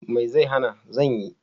Me zai hana! zan yi.